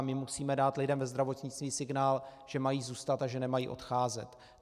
A my musíme dát lidem ve zdravotnictví signál, že mají zůstat a že nemají odcházet.